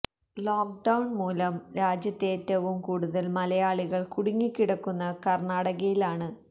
lock down മൂലം രാജ്യത്തേറ്റവും കൂടുതൽ മലയാളികൾ കുടുങ്ങി കിടക്കുന്ന കർണാടകയിലാണ്